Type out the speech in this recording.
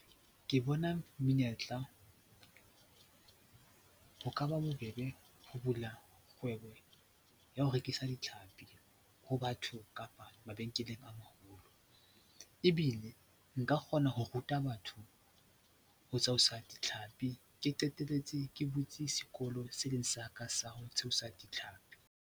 Ke bona menyetla, ho ka ba bobebe ho bula kgwebo ya ho rekisa ditlhapi ho batho kapa mabenkeleng a maholo ebile nka kgona ho ruta batho ho ditlhapi, ke qetelletse ke butse sekolo se leng sa ka sa ho tshwasa ditlhapi.